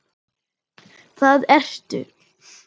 Það ertu.